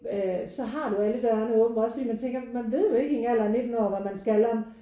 Øh så har du alle dørene åben også fordi man tænker man ved jo ikke i en alder af 19 år hvad man skal om